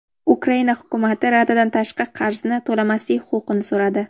Ukraina hukumati Radadan tashqi qarzni to‘lamaslik huquqini so‘radi.